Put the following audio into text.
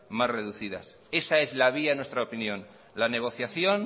más reducidas esa es la vía en nuestra opinión la negociación